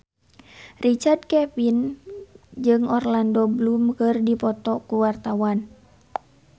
Richard Kevin jeung Orlando Bloom keur dipoto ku wartawan